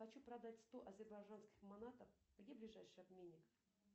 хочу продать сто азербайджанских монаток где ближайший обменник